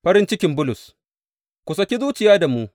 Farin cikin Bulus Ku saki zuciya da mu.